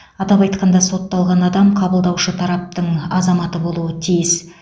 атап айтқанда сотталған адам қабылдаушы тараптың азаматы болуы тиіс